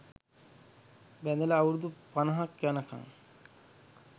බැඳල අවුරුදු පනහක් යනකන්